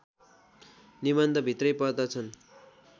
निबन्ध भित्रै पर्दछन्